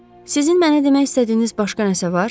Sizin mənə demək istədiyiniz başqa nəsə var?